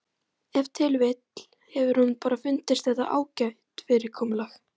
Ef til vill hefur honum bara fundist þetta ágætt fyrirkomulag.